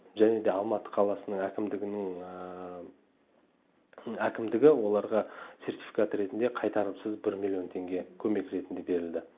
және де алматы қаласының әкімдігінің әкімдігі оларға сертификат ретінде қайтарымсыз бір миллион теңге көмек ретінде берілді